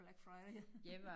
Black Friday